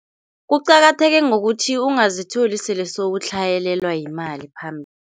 Kuqakatheke ngokuthi ungazitholi sele sowutlhayelelwa yimali phambili.